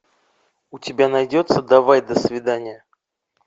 у тебя найдется давай до свидания